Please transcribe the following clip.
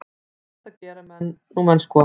Þetta gera nú menn sko.